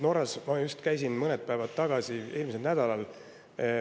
Norras ma just käisin mõned päevad tagasi, eelmisel nädalal.